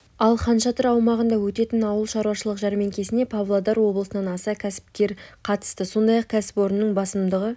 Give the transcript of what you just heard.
ал хан шатыр аумағында өтетін ауыл шаруашылық жәрмеңкесіне павлодар облысынан аса кәсіпкер қатысады сондай-ақ кәсіпорынның басымдығы